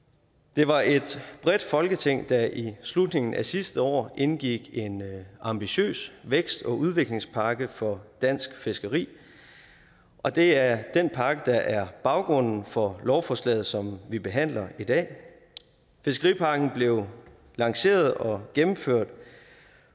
det var et bredt folketing der i slutningen af sidste år indgik en ambitiøs vækst og udviklingspakke for dansk fiskeri og det er den pakke der er baggrunden for lovforslaget som vi behandler i dag fiskeripakken blev lanceret og gennemført